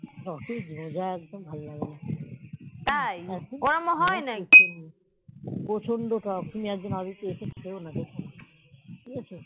যত যোগ একদম ভাল লাগেনা প্রচন্ড টক তুমি একদিন এসে খেয়ে ডেকোনা দেখো